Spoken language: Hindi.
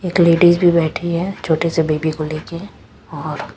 एक लेडीज भी बैठी है छोटे से बेबी को लेके और--